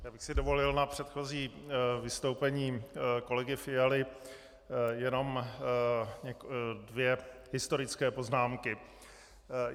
Já bych si dovolil na předchozí vystoupení kolegy Fialy jenom dvě historické poznámky.